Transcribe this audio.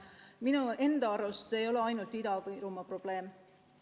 Minu arust see ei ole ainult Ida-Virumaa probleem.